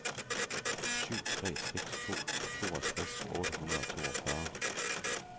syv tre seks to toogtres otte hundrede og toogfyrre